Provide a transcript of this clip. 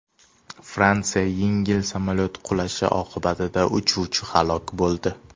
Fransiyada yengil samolyot qulashi oqibatida uchuvchi halok bo‘ldi.